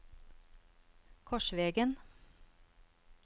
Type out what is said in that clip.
Korsvegen